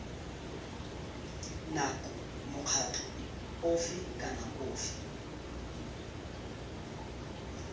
nako mokgatlho ofe kana ofe